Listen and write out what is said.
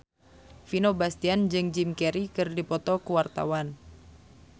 Vino Bastian jeung Jim Carey keur dipoto ku wartawan